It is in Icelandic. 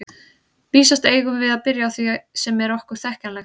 Vísast eigum við að byrja á því sem er okkur þekkjanlegt.